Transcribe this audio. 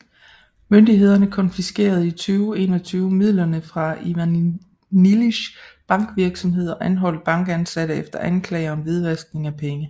Myndighederne konfiskerede i 2011 midler fra Ivanisjvilis bankvirksomhed og anholdt bankansatte efter anklager om hvidvaskning af penge